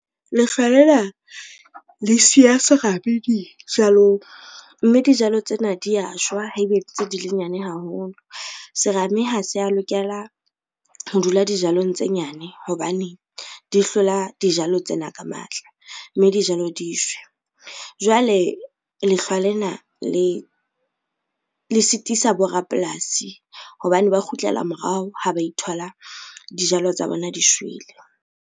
Lehlwa le na le siya serame dijalong, mme dijalo tsena dia jewa haebe e ntse di le nyane haholo. Serame ha se a lokela ho dula dijalong tse nyane hobane di hlola dijalo tsena ka matla mme dijalo di shwe. Jwale lehlwa lena le sitisa borapolasi hobane ba kgutlela morao ha ba ithola dijalo tsa bona di shwele.